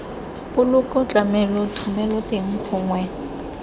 poloko tlamelo thomelo teng gongwe